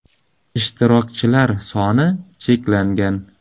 Ishtirokchilar soni chegaralangan.